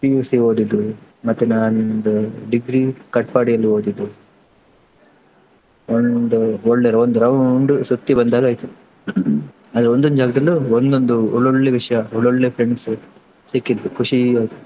PUC ಓದಿದ್ದು ಮತ್ತೆ ನಾನ್ degree Katpadi ಯಲ್ಲಿ ಓದಿದ್ದು, ಒಂದು ಒಳ್ಳೆ ಒಂದು round ಸುತ್ತಿ ಬಂದಾಗೆ ಆಯ್ತು. ಅಲ್ಲಿ ಒಂದೊಂದು ಜಾಗದಲ್ಲೂ ಒಂದೊಂದು ಒಳ್ಳೆ ವಿಷಯ, ಒಳ್ಳೆ friends ಸಿಕ್ಕಿದ್ರು ಖುಷಿ ಆಯ್ತು.